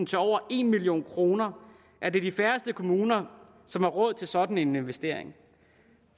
til over en million kroner er det de færreste kommuner som har råd til sådan en investering